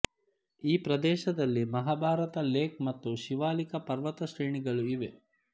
ಈ ಪ್ರದೇಶದಲ್ಲಿ ಮಹಾಭಾರತ ಲೇಖ್ ಮತ್ತು ಶಿವಾಲಿಕ ಪರ್ವತಶ್ರೇಣಿಗಳು ಇವೆ